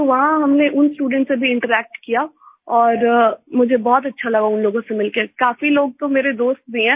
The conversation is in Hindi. तो वहाँ हमने उन स्टूडेंट्स से भी इंटरैक्ट किया और मुझे बहुत अच्छा लगा उन लोगों से मिल के काफ़ी लोग तो मेरे दोस्त भी हैं